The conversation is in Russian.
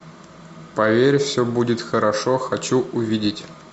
поверь все будет хорошо хочу увидеть